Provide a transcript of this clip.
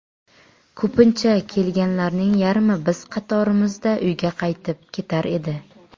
Ko‘pincha kelganlarning yarmi biz qatorimizda uyga qaytib ketar edi.